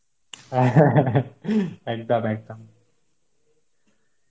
একদম একদম